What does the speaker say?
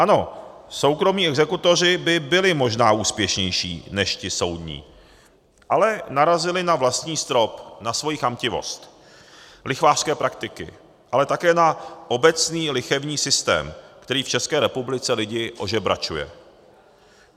Ano, soukromí exekutoři by byli možná úspěšnější než ti soudní, ale narazili na vlastní strop, na svoji chamtivost, lichvářské praktiky, ale také na obecný lichevní systém, který v České republice lidi ožebračuje.